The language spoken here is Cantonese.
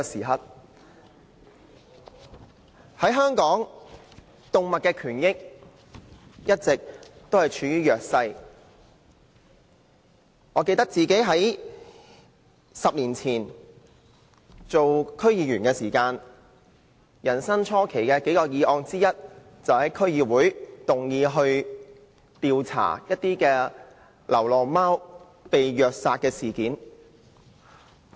香港的動物權益一直處於弱勢，記得我10年前出任區議員時，最初期的工作之一，便是在區議會會議上動議調查流浪貓被虐殺事件的議案。